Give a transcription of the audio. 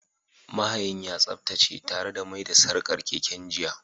Mahayin ya tsaftace tare da mai da sarkar keken jiya